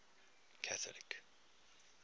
catholic